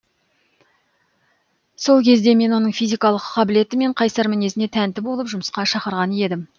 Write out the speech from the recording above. сол кезде мен оның физикалық қабілеті мен қайсар мінезіне тәнті болып жұмысқа шақырған едім